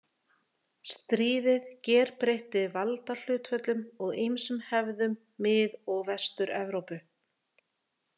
Stríðið gerbreytti valdahlutföllum og ýmsum hefðum Mið- og Vestur-Evrópu.